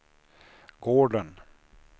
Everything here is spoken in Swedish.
gården